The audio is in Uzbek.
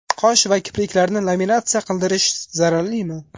Qosh va kipriklarni laminatsiya qildirish zararlimi?